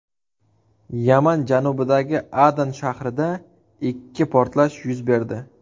Yaman janubidagi Adan shahrida ikki portlash yuz berdi.